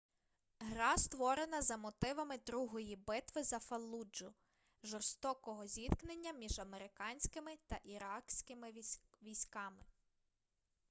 гра створена за мотивами другої битви за фаллуджу жорстокого зіткнення між американськими та іракськими військами